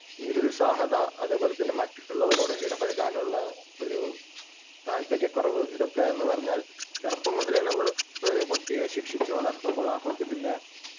നിരുത്സാഹത, അതേപോലെതന്നെ മറ്റുള്ളവരോട് ഇടപഴകാനുള്ള ഒരു താൽപ്പര്യക്കുറവ് ഇതൊക്കെ എന്ന് പറഞ്ഞാൽ ചെറുപ്പം മുതലേ നമ്മള് ഒരു കുട്ടിയെ ശിക്ഷിച്ചു വളർത്തുമ്പോൾ ആ കുട്ടി പിന്നെ